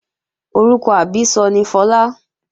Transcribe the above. Orúkọ àbísọ ni Fọlá